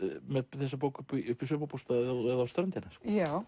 með þessa bók upp í sumarbústað eða á ströndina já